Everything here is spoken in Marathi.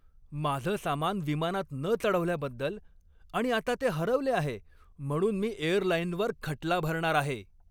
माझं सामान विमानात न चढवल्याबद्दल आणि आता ते हरवले आहे म्हणून मी एअरलाइनवर खटला भरणार आहे.